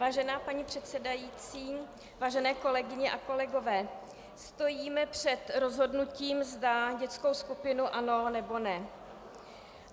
Vážená paní předsedající, vážené kolegyně a kolegové, stojíme před rozhodnutím, zda dětskou skupinu ano, nebo ne.